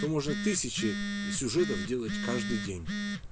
то может тысячи сюжетов делать каждый день